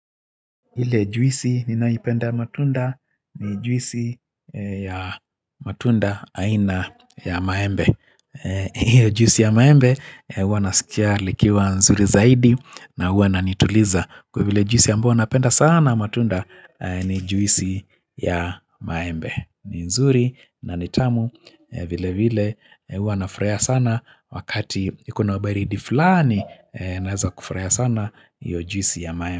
Ile juisi ninaipenda matunda ni juisi ya matunda aina ya maembe. Hiyo juisi ya maembe uwa nasikia likiwa nzuri zaidi na huwa nanituliza. Kwa vile juisi ambayo napenda sana matunda ni juisi ya maembe. Ni nzuri na ni tamu vile vile huwa nafurahia sana wakati iko na ubaridi fulani naeza kufurahia sana hiyo juisi ya maembe.